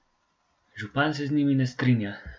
Župan se z njimi ne strinja.